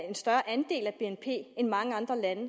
en større andel af bnp end mange andre lande